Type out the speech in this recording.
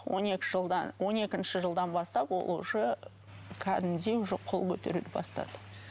он екі жылда он екінші жылдан бастап ол уже кәдімгідей уже қол көтеруді бастады